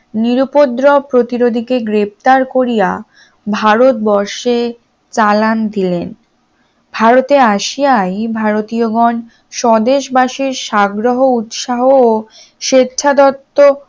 নিরুউপদ্রব প্রতিনিধিকে গ্রেপ্তার করিয়া ভারতবর্ষে চালান দিলেন ভারতে আসিয়াই ভারতীয় গন স্বদেশবাসীর সাগ্রহ উৎসাহ ও স্বেচ্ছা দত্ত